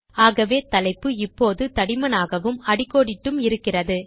ஆகவே தலைப்பு இப்போது தடிமனாகவும் அடிக்கோடிட்டும் இருக்கிறது